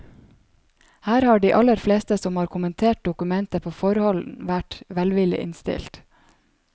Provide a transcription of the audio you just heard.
Her har de aller fleste som har kommentert dokumentet på forhånd, vært velvillig innstilt.